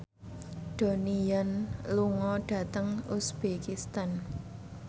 Donnie Yan lunga dhateng uzbekistan